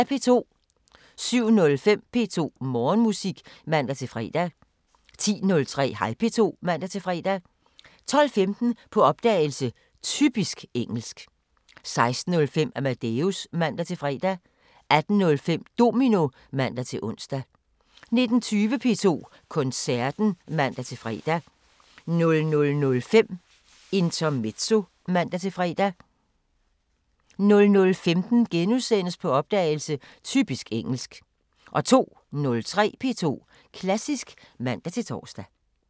07:05: P2 Morgenmusik (man-fre) 10:03: Hej P2 (man-fre) 12:15: På opdagelse – Typisk engelsk 16:05: Amadeus (man-fre) 18:05: Domino (man-ons) 19:20: P2 Koncerten (man-fre) 00:05: Intermezzo (man-fre) 00:15: På opdagelse – Typisk engelsk * 02:03: P2 Klassisk (man-tor)